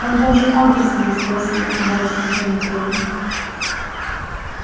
он даже адреса не спросил мрачно заметил я